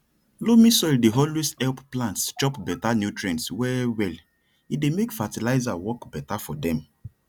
loamy soil dey always help plants chop better nutrients well well e dey make fertilizer work better for dem